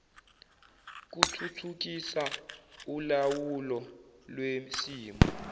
kuthuthukisa ulawulo lwesimo